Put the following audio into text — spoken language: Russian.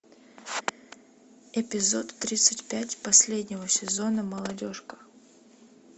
эпизод тридцать пять последнего сезона молодежка